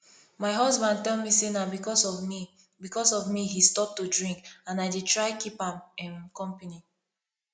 my husband tell me say na because of me because of me he stop to drink and i dey try keep am um company